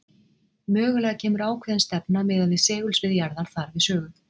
mögulega kemur ákveðin stefna miðað við segulsvið jarðar þar við sögu